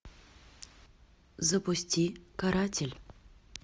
запусти каратель